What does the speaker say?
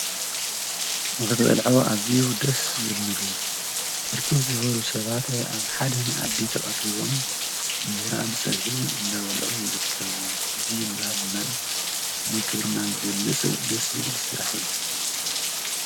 ንክትበልዖ እዝዩ ደስ ዝብል ምግቢ ብርክት ዝበሉ ሰባት ኣብ ሓደ መኣዲ ተቀሪቦም እንጀራ ብፀብሒ እንዳበልዑ ይርከቡ ። እዚ ንባህልናን ንክብርናን ዝገልፅ ደስ ዝብል ስራሕ እዩ ፡፡